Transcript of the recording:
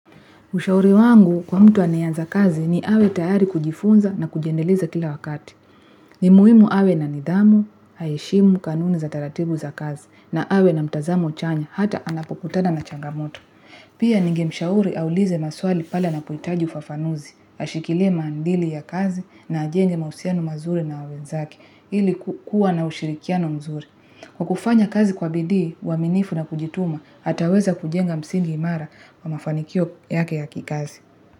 Ushauri wangu kwa mtu anayeanza kazi ni awe tayari kujifunza na kujindeliza kila wakati. Ni muhimu awe na nidhamu, aheshimu, kanuni za taratibu za kazi, na awe na mtazamo chanya, hata anapokutana na changamoto. Pia ningemshauri aulize maswali pale anapohitaji ufafanuzi, ashikilie maadili ya kazi na ajenge mahusiano mazuri na wenzake, ili kukua na ushirikiano mzuri. Kwa kufanya kazi kwa bidii, uaminifu na kujituma, ataweza kujenga msingi imara wa mafanikio yake ya kikazi.